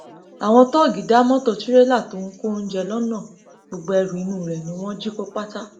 àwọn tóògì da mọtò tirẹlà tó ń kó oúnjẹ lọnà gbogbo ẹrù inú rẹ ni wọn jí kó pátá